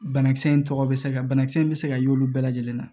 Banakisɛ in tɔgɔ bɛ se ka banakisɛ in bɛ se ka y'olu bɛɛ lajɛlen na